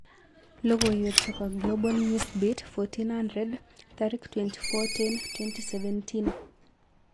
Logowek chepo Global Newsbeat 1400,24.10.2017